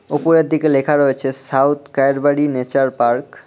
ওপরের দিকে লেখা রয়েছে সাউথ কায়েরবাড়ি নেচার পার্ক ।